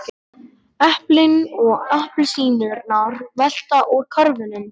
Eplin og appelsínurnar velta úr körfunum.